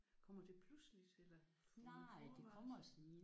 Kommer det pludseligt eller uden forvarsel?